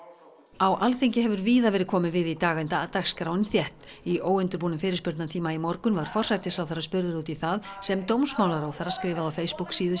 á Alþingi hefur víða verið komið við í dag enda dagskráin þétt í óundirbúnum fyrirspurnatíma í morgun var forsætisráðherra spurður út í það sem dómsmálaráðherra skrifaði á Facebook síðu